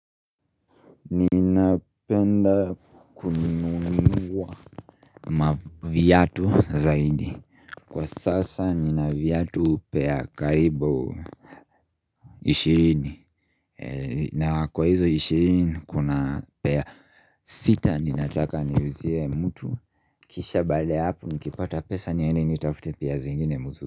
Ninapenda kununuliwa viatu zaidi. Kwa sasa nina viatu pair karibu ishirini na kwa hizo ishirini kuna pair sita ninataka niuzie mtu kisha baada ya hapo nikipata pesa niende nitafute pair zingine mzuri.